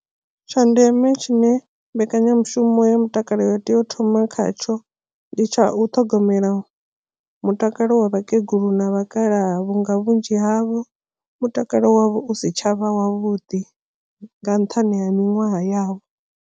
Tsha ndeme tshine mbekanyamushumo ya mutakalo ya tea u thoma khatsho ndi tsha u ṱhogomela mutakalo wa vhakegulu na vhakalaha vhunga vhunzhi havho mutakalo wavho u si tshavha wavhuḓi nga nṱhani ha miṅwaha yavho.